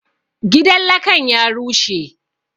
Gidan lakan ya rushe